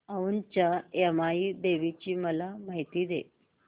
औंधच्या यमाई देवीची मला माहिती दे